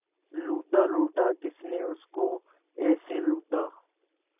लूटा लूटा किसने उसको ऐसे लूटा